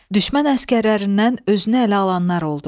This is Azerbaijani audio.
Düşmən əsgərlərindən özünə ələ alanlar oldu.